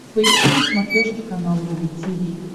поищи на смотрешке канал рубль ти ви